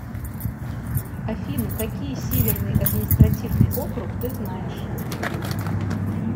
афина какие северный административный округ ты знаешь